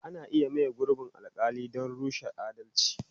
Ana iya maye gurbin alƙali don rashin adalci.